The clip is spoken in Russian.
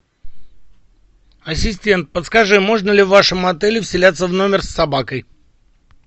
ассистент подскажи можно ли в вашем отеле вселяться в номер с собакой